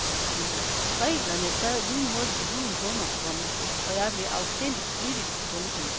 Reglerne sad lynhurtigt i huden på mig, komma og jeg blev afsindigt flittig. punktum